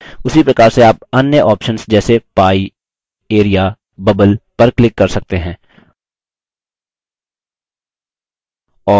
उसी प्रकार से आप अन्य options जैसे pie area bubble पर click कर सकते हैं